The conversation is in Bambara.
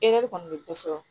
Ere kɔni bɛ ko sɔrɔ